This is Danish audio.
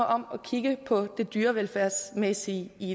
om at kigge på det dyrevelfærdsmæssige i